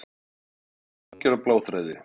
Eitthvað hangir á bláþræði